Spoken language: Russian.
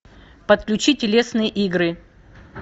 подключи телесные игры